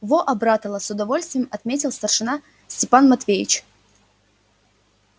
во обратала с удовольствием отметил старшина степан матвеевич